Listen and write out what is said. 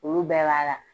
Olu bɛɛ b'a la